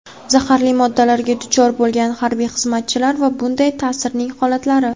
zaharli moddalarga duchor bo‘lgan harbiy xizmatchilar va bunday ta’sirning holatlari.